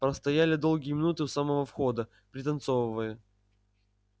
простояли долгие минуты у самого входа пританцовывая